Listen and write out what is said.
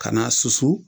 Ka n'a susu